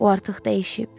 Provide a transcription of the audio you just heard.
O artıq dəyişib.